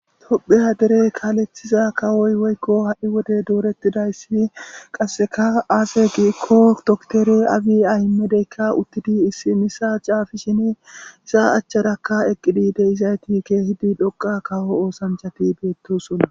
Tophphiya dere kalethiza dereyi woyikko hai Wode doretidayisi qasekka aze gikko dokkitere abi amedeyika issi mishsha xaafishini eza acharaka xelizayiti kehippe dhoqa kawo osanichchati betosona